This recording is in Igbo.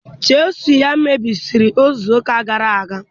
Chịsụlụ ya mebisiri izu ụka gara aga.